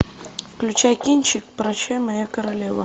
включай кинчик прощай моя королева